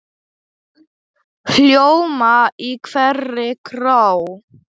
hljóma í hverri kró.